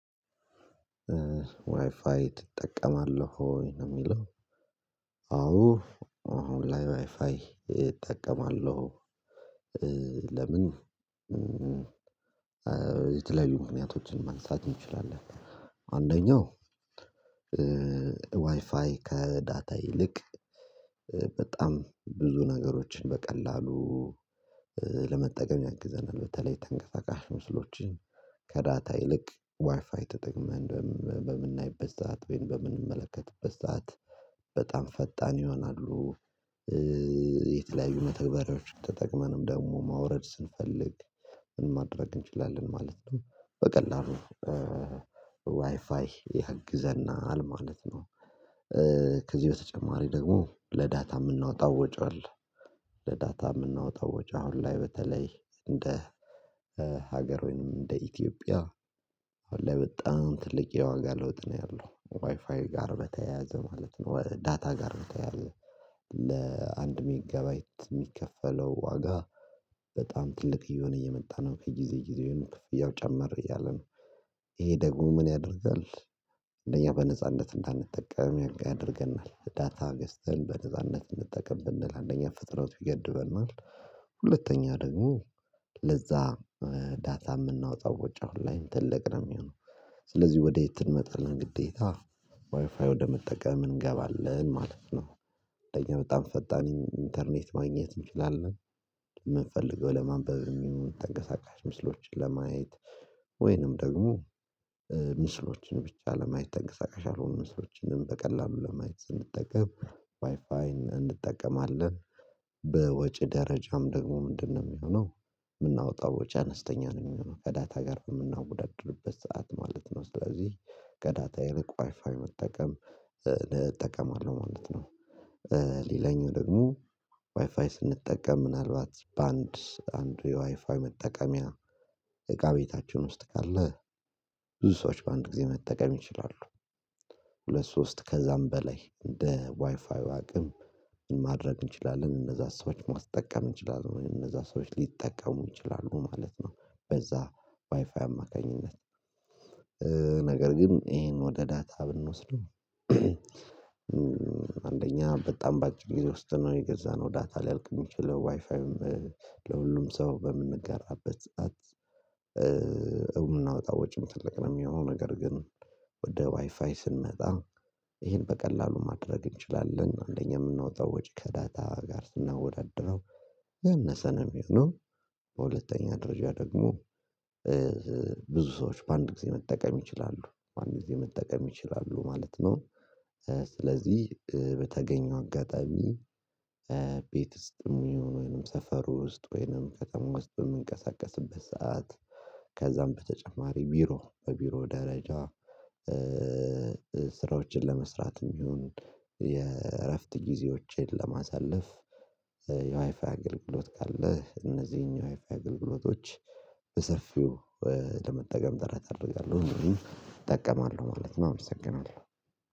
ዋይፋይ ትጠቀማለህ ወይ ነው የሚለው? አዎ አሁን ላይ ዋይፋይ እጠቀማለሁ። ለምን የተለያዩ ምክንያቶችን ማንሳት እንችላለን። አንደኛው ዋይፋይ ከዳታ ይልቅ በጣም ብዙ ነገሮችን በቀላሉ ለመጠቀም ያግዘናል። በተለይ ተንቀሳቃሽ ምስሎችን ከዳታ ይልቅ ዋይፋይ ተጠቅመህ በምናይበት ሰዓት ወይም በምንመለከትበት ሰዓት በጣም ፈጣን ይሆናሉ። የተለያዩ መተግበሪያዎችን ተጠቅመንም ደግሞ ማውረድ ስንፈልግ ምን ማድረግ እንችላለን ማለት ነው በቀላሉ ዋይፋይ ያግዘናል ማለት ነው። ከዚህ በተጨማሪ ደግሞ ለዳታ የምናወጣው ወጪዋለሁ ለዳታ የምናወጣው ወጪዋለሁ አሁን ላይ በተለይ እንደ ሀገር ወይንም እንደ ኢትዮጵያ አሁን ላይ በጣም ትልቅ የዋጋ ለውጥ ነው ያለው ዋይፋይ ጋር በተያያዘ ማለት ነው። ዳታ ጋር በተያያዘ ለአንድ ሜጋባይት የሚከፈለው ዋጋ በጣም ትልቅ እየሆነ እየመጣ ነው ከጊዜ ጊዜ የሆነ ክፍያው ጨመር እያለ ነው ይሄ ደግሞ ምን ያደርጋል? እነዚህ በነጻነት እንዳንጠቀም ያደርገናል ዳታ ገስትህን በነጻነት እንድትጠቀም ብንል አንደኛ ፍጥነቱ ይገድበናል። ሁለተኛ ደግሞ ለዛ ዳታ የምናወጣው ወጪ አሁን ላይም ትልቅ ነው የሚሆነው። ስለዚህ ወደ የት እንመጣለን ግዴታ ዋይፋይ ወደመጠቀም እንገባለን ማለት ነው። እንደኛ በጣም ፈጣን ኢንተርኔት ማግኘት እንችላለን የምንፈልገው ለማንበብ የሚሆን ተንቀሳቃሽ ምስሎችን ለማየት ወይንም ደግሞ ምስሎችን ብቻ ለማየት ተንቀሳቃሽ አልሆኑም ምስሎችንም በቀላሉ ለማየት እንጠቀም ዋይፋይን እንጠቀማለን። በወጪ ደረጃም ደግሞ ምንድነው የሚሆነው የምናወጣው ወጪ አነስተኛ ነው የሚሆነው ከዳታ ጋር በምናወዳድርበት ሰዓት ማለት ነው። ስለዚህ ከዳታ ይልቅ ዋይፋይ መጠቀም እጠቀማለሁ ማለት ነው። ሌላኛው ደግሞ ዋይፋይ ስንጠቀም ምናልባት በአንድ አንዱ የዋይፋይ መጠቀሚያ እቃ ቤታችን ውስጥ ካለ ብዙ ሰዎች በአንድ ጊዜ መጠቀም ይችላሉ። ሁለት ሶስት ከዛም በላይ እንደ ዋይፋው አቅም ማድረግ እንችላለን እነዛ ሰዎች ማስጠቀም እንችላለን እነዛ ሰዎች ሊጠቀሙ ይችላሉ ማለት ነው። በዛ ዋይፋይ አማካኝነት ነው ነገር ግን ይሄን ወደ ዳታ ብንወስድው። አንደኛ በጣም በአጭር ጊዜ ውስጥ ነው የገዛነው ዳታ ሊያልቅ የሚችለው ዋይፋይም ለሁሉም ሰው በምንጋራበት እውን እናውጣ ወጪ መጥለቅ ነው የሚሆነው። ነገር ግን ወደ ዋይፋይ ስንመጣ ይሄን በቀላሉ ማድረግ እንችላለን አንደኛ የምናወጣው ወጪ ከዳታ ጋር ስናወዳድረው ያነሰ ነው የሚሆነው። በሁለተኛ ደረጃ ደግሞ ብዙ ሰዎች በአንድ ጊዜ መጠቀም ይችላሉ በአንድ ጊዜ መጠቀም ይችላሉ ማለት ነው። ስለዚህ በተገኘው አጋጣሚ ቤት ውስጥ የሚሆን ወይንም ሰፈር ውስጥ ወይንም ከተማ ውስጥ በምንቀሳቀስበት ሰዓት ከዛም በተጨማሪ ቢሮ በቢሮ ደረጃ ስራዎችን ለመስራትም ይሁን የእረፍት ጊዜዎችን ለማሳለፍ የዋይፋ አገልግሎት ካለ እነዚህን የፋይአይ ግልግሎቶች በሰፊው ለመጠቀም ጥረት አደርጋለሁ እንዲሁም እጠቀማለሁ ማለት ነው። አመሰግናለሁ